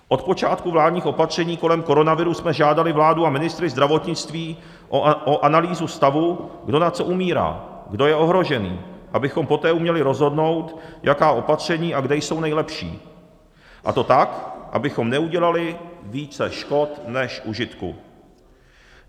Od počátku vládních opatření kolem koronaviru jsme žádali vládu a ministry zdravotnictví o analýzu stavu, kdo na co umírá, kdo je ohrožený, abychom poté uměli rozhodnout, jaká opatření a kde jsou nejlepší, a to tak, abychom neudělali více škod než užitku.